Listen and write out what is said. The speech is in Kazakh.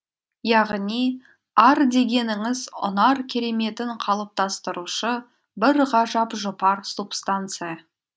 яғни ар дегеніңіз ұнар кереметін қалыптастырушы бір ғажап жұпар субстанция